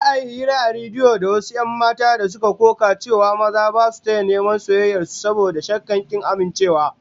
Za'a yi hira a rediyo da wasu 'yan mata da suka koka cewa maza ba su taya neman soyayyar su, saboda shakkar kin amincewa